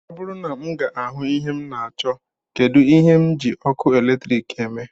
Ọ bụrụ na m ga-ahụ ihe m na-achọ, kedụ ihe m ji ọkụ eletrik eme